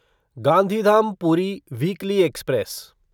Gandhidham Puri weekly express